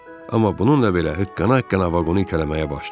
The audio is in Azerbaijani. Amma bununla belə hıqqana-hıqqana vaqonu itələməyə başladı.